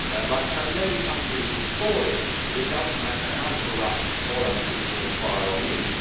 Like so many countries before it, it does not matter how corrupt or unsuitable FYROM is.